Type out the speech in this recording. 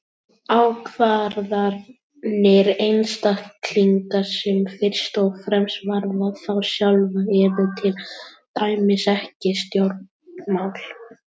Ákvarðanir einstaklinga sem fyrst og fremst varða þá sjálfa eru til dæmis ekki stjórnmál.